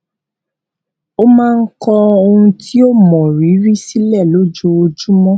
ó máa ń kọ ohun tí ó mọrírì sílẹ lójoojúmọ